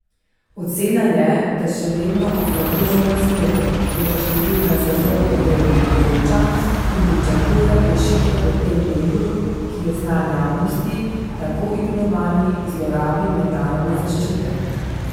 Ocena je, da še vedno obvladujemo razmere, je pa številka zelo obremenjujoča in pričakujem rešitev v tem delu, ki je znan javnosti, tako imenovani zlorabi mednarodne zaščite.